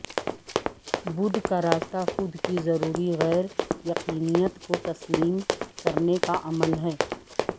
بدھ کا راستہ خود کی ضروری غیر یقینییت کو تسلیم کرنے کا عمل ہے